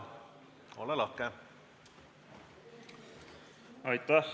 Ole lahke!